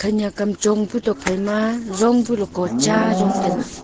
nyak am chong pu tokphai ma jong pu loko cha jong taga.